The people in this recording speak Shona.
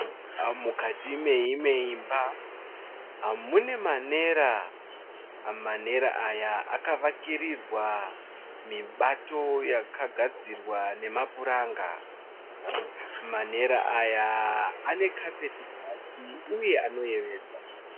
Mukati meimwe imba. Mune manera. Manera aya akavakirirwa mibato yakagadzirwa nemapuranga. Manera aya ane kapeti pasi uye anoyevedza.